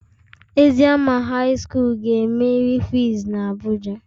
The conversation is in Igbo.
Eziama high school ga emeri quiz na abuja.